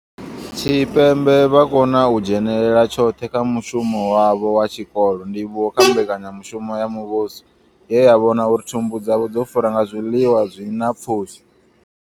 Tshipembe vha khou kona u dzhenela tshoṱhe kha mushumo wavho wa tshikolo, ndivhuwo kha mbekanyamushumo ya muvhuso ye ya vhona uri thumbu dzavho dzo fura nga zwiḽiwa zwi na pfushi.